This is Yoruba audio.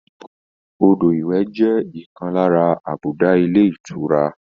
Odò ìwẹ̀ jẹ ọkan lára àbùdá ilé ìtura